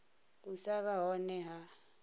u sa vha hone ha